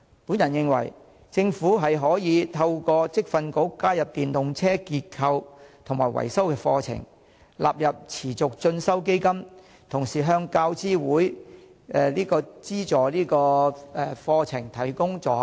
我認為，政府可透過在職業訓練局加入電動車結構及維修課程，並將之納入持續進修基金，同時向大學教育資助委員會資助相關的課程提供助學金。